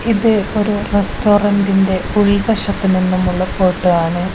ഇത് ഒരു റസ്റ്റോറന്റിന്റെ ഉൾവശത്തു നിന്നുമുള്ള ഫോട്ടോയാണ് .